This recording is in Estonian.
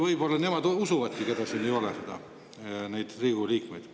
Võib-olla nemad usuvadki teid, keda siin ei ole, need Riigikogu liikmed.